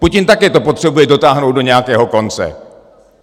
Putin také to potřebuje dotáhnout do nějakého konce.